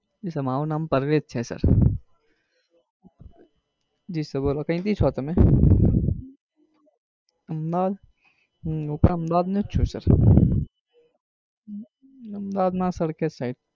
મારું નામ પર્વેઝ છે sir જી sir કઈ થી છો તમે? અહમેદાબાદ? હમ હું પણ અહમેદાબાદ નો જ છું sir અહમેદાબાદ માં સરખેજ side